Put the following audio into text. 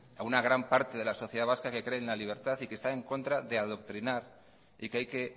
a una gran parte de la sociedad vasca que cree en la libertad y que está en contra de adoctrinar y que hay que